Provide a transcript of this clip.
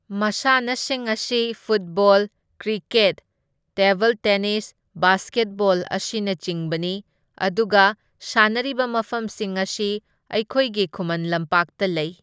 ꯃꯁꯥꯟꯅꯁꯤꯡ ꯑꯁꯤ football, cricket, table tennis, basketball, ꯑꯁꯤꯅꯆꯤꯡꯕꯅꯤ ꯑꯗꯨꯒ ꯁꯥꯟꯅꯔꯤꯕ ꯃꯐꯝꯁꯤꯡ ꯑꯁꯤ ꯑꯩꯈꯣꯏꯒꯤ ꯈꯨꯃꯟ ꯂꯝꯄꯥꯛꯇ ꯂꯩ꯫